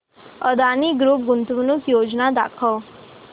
Adani group गुंतवणूक योजना दाखव